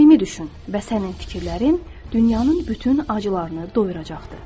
Səmimi düşün və sənin fikirlərin dünyanın bütün acılarını doyuracaqdır.